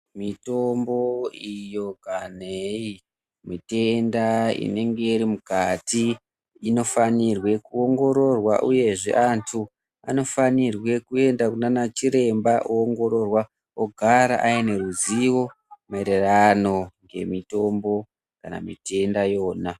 Mitombo iyo kanhei, mitenda inenge iri mukati inofanirwe kuongororwa uyezve antu anofanire kuenda kunanachiremba ongorororwa ogara aine ruzivo maererano nemitombo kana mitenda iyona.